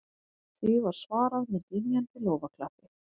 Því var svarað með dynjandi lófaklappi